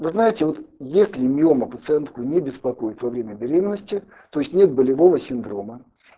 вы знаете вот если миома пациентку не беспокоит во время беременности то есть нет болевого синдрома